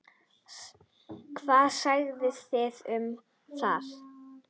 Hvað segið þið um það?